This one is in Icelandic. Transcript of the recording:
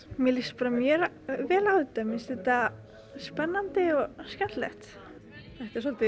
mér líst bara mjög vel á þetta mér finnst þetta spennandi og skemmtilegt svolítið